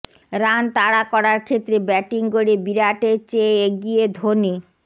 run তাড়া করার ক্ষেত্রে ব্যাটিং গড়ে বিরাটের চেয়ে এগিয়ে ধোনি